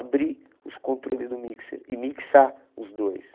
Abrir os controles do mixer e mixar os dois.